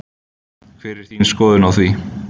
Hver er þín skoðun á því?